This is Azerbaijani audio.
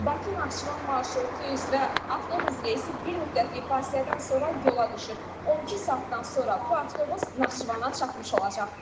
Bakı-Naxçıvan marşrutu üzrə avtobus reysi bir müddətlik fasilədən sonra yola düşür, 12 saatdan sonra bu avtobus Naxçıvana çatmış olacaq.